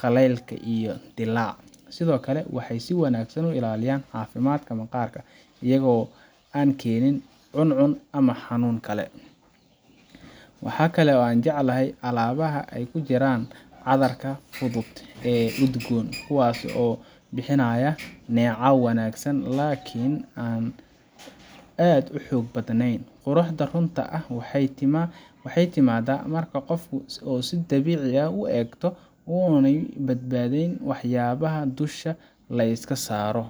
qallayl iyo dillaac. Sidoo kale, waxay si wanaagsan u ilaaliyaan caafimaadka maqaarka iyagoo aan keenin cuncun ama xanuun kale. Waxa kale oo aan jecelahay alaabaha ay ku jiraan cadarka fudud ee udgoon, kuwaas oo bixinaya neecaw wanaagsan laakiin aan aad u xoog badanayn. Quruxda runta ah waxay timaadaa marka qofku si dabiici ah u eegto oo aanay badnayn waxyaabaha dusha la iska saaro.